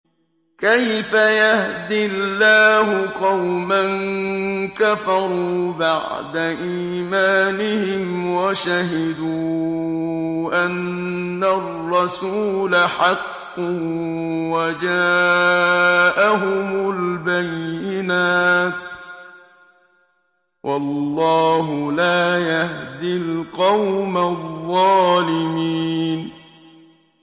كَيْفَ يَهْدِي اللَّهُ قَوْمًا كَفَرُوا بَعْدَ إِيمَانِهِمْ وَشَهِدُوا أَنَّ الرَّسُولَ حَقٌّ وَجَاءَهُمُ الْبَيِّنَاتُ ۚ وَاللَّهُ لَا يَهْدِي الْقَوْمَ الظَّالِمِينَ